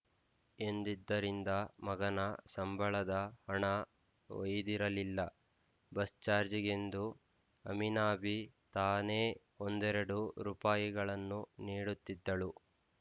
ಎಂದಿದ್ದರಿಂದ ಮಗನ ಸಂಬಳದ ಹಣ ಒಯ್ದಿರಲಿಲ್ಲ ಬಸ್ ಚಾರ್ಜಿಗೆಂದು ಅಮಿನಾಬಿ ತಾನೇ ಒಂದೆರಡು ರೂಪಾಯಿಗಳನ್ನು ನೀಡುತ್ತಿದ್ದಳು